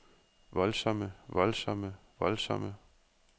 voldsomme voldsomme voldsomme